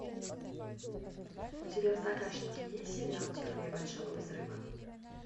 у тебя в загашнике есть сериал теория большого взрыва